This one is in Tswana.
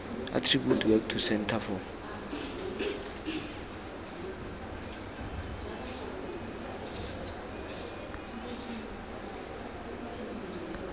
attribute work to centre for